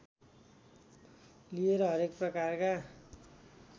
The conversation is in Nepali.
लिएर हरेक प्रकारका